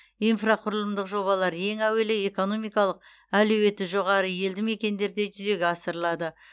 инфрақұрылымдық жобалар ең әуелі экономикалық әлеуеті жоғары елді мекендерде жүзеге асырылады